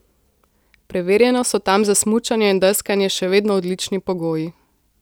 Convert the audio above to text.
Preverjeno so tam za smučanje in deskanje še vedno odlični pogoji.